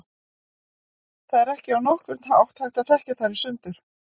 Það er ekki á nokkurn hátt hægt að þekkja þær í sundur.